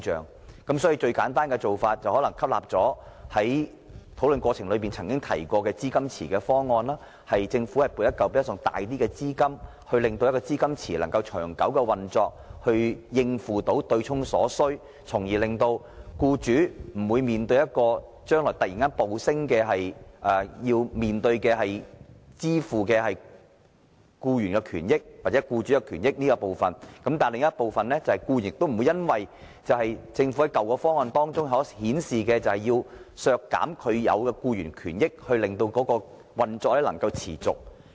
我認為最簡單的做法，可能是採取討論時提及的資金池方案，由政府撥出一筆較大資金，使資金池能夠長久運作，應付對沖所需，而僱主日後亦無須突然要支付暴升的僱員權益或僱主權益；但另一方面，僱員也不會因政府在舊方案中表示要削減僱員權益，以維持強積金運作，因而蒙受損失。